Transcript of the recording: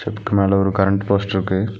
ஸ்டெப்கு மேல ஒரு கரண்ட் போஸ்ட்ருக்கு .